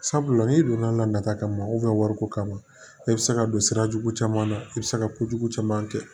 Sabula n'i donna la nata kama wariko kama e bɛ se ka don sira jugu caman na i bɛ se ka kojugu caman kɛ